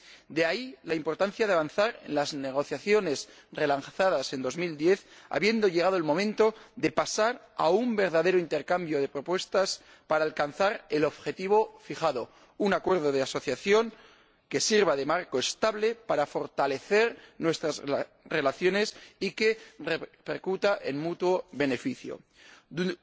De ahí la importancia de avanzar en las negociaciones relanzadas en 2010, habiendo llegado el momento de pasar a un verdadero intercambio de propuestas para alcanzar el objetivo fijado un acuerdo de asociación que sirva de marco estable para fortalecer nuestras relaciones y que repercuta en beneficio mutuo.